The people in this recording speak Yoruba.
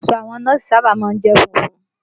Aṣọ àwọn nọ́ọ̀sì sábà má ń jẹ́ funfun